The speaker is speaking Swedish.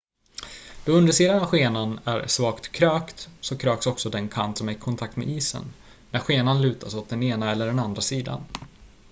då undersidan av skenan är svagt krökt så kröks också den kant som är i kontakt med isen när skenan lutas åt den ena eller den andra sidan